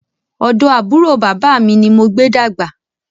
Ọ̀dọ̀ àbúrò bàbá mi ni mo gbé dàgbà